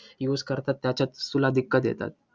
Use करतात, त्याच्यात तुला दिक्कत येतात?